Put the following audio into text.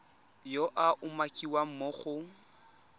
yo a umakiwang mo go